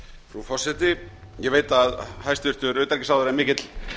frú forseti ég veit að hæstvirtur utanríkisráðherra er mikill